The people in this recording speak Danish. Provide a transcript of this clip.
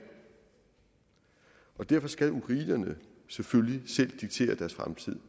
derfor skal ukrainerne selvfølgelig selv diktere deres fremtid